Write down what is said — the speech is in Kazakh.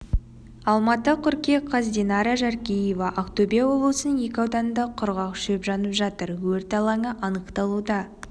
алматы қыркүйек қаз динара жаркеева ақтөбе облысының екі ауданында құрғақ шөп жанып жатыр өрт алаңы анықталуда